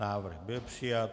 Návrh byl přijat.